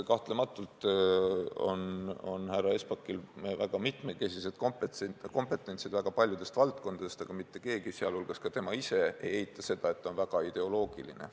Kahtlemata on härra Espakil väga mitmekesine kompetents väga paljudes valdkondades, aga mitte keegi, ka tema ise mitte, ei eita seda, et ta on väga ideoloogiline.